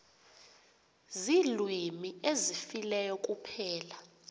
ziilwimi ezifileyo kuphela